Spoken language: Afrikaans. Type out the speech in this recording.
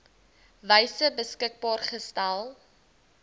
wyse beskikbaar gestel